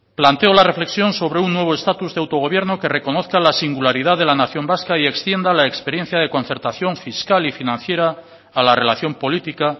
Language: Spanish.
planteo la reflexión sobre un nuevo estatus de autogobierno que reconozca la singularidad de la nación vasca y extienda la experiencia de concertación fiscal y financiera a la relación política